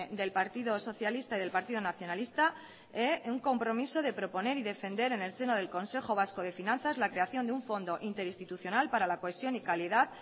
del partido socialista y del partido nacionalista un compromiso de proponer y defender en el seno del consejo vasco de finanzas la creación de un fondo interinstitucional para la cohesión y calidad